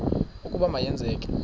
ukuba ma yenzeke